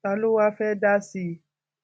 ta ló wáá fẹẹ dá sí i